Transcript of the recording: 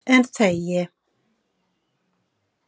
En þegi.